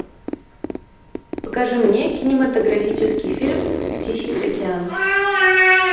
покажи мне кинематографический фильм тихий океан